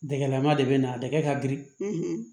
Dɛgɛlama de bɛ na dɛgɛ ka girin